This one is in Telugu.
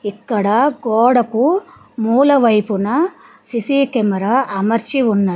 ఇక్కడ గోడకు మూల వైపున సి_సి కెమెరా అమర్చి ఉన్న--